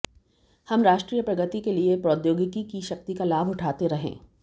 हम राष्ट्रीय प्रगति के लिए प्रौद्योगिकी की शक्ति का लाभ उठाते रहें